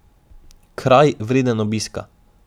Kraj, vreden obiska.